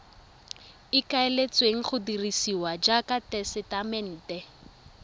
ikaeletsweng go dirisiwa jaaka tesetamente